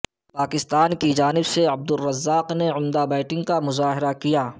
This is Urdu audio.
پاکستان کی جانب سے عبدالرزاق نے عمدہ بیٹنگ کا مظاہرہ کیا